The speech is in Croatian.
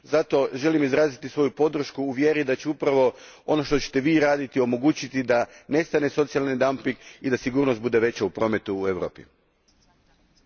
Zato želim izraziti svoju podršku u vjeri da će upravo ono što ćete vi raditi omogućiti da nestane socijalni dumping i da sigurnost prometa u Europi bude veća.